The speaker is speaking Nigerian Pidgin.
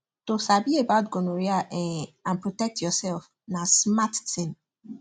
to sabi about gonorrhea um and protect yourself na smart thing